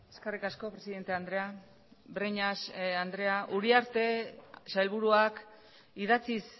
eskerrik asko presidente andrea breñas andrea uriarte sailburuak idatziz